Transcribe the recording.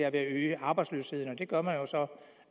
at øge arbejdsløsheden og det gør man jo så